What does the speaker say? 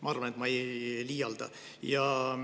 Ma arvan, et ma ei liialda.